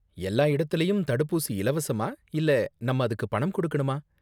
எல்லா இடத்துலயும் தடுப்பூசி இலவசமா இல்லை நம்ம அதுக்கு பணம் கொடுக்கனுமா?